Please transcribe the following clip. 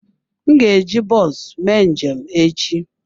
M ga-eji bọs mee njem echi.